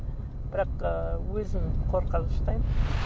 бірақ ііі өзім